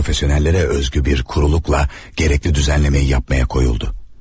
Peşəkarlara xas bir quruluqla lazımi tənzimləməni etməyə başladı.